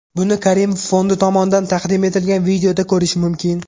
Buni Karimov fondi tomonidan taqdim etilgan videoda ko‘rish mumkin.